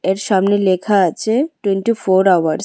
এর সামনে লেখা আছে টোয়েন্টি ফোর আওয়ার্স ।